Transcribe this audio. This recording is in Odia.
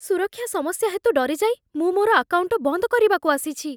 ସୁରକ୍ଷା ସମସ୍ୟା ହେତୁ ଡରିଯାଇ ମୁଁ ମୋର ଆକାଉଣ୍ଟ ବନ୍ଦ କରିବାକୁ ଆସିଛି ।